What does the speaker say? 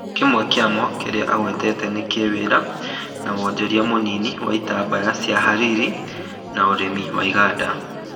Kĩmwe kĩamo kĩrĩa agwetete ni kĩwĩra, na wonjorithia mũnini wa itambaya cia hariri na ũrĩmi na igaanda